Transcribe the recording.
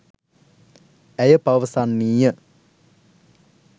ඇය පවසන්නීය.